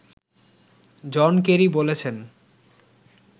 জন Kerry বলেছেন